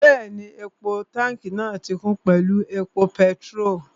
Bẹ́ẹ̀ni, táùnkì epo pẹtirólù náà ti kún pẹ̀lú epo pẹtirólù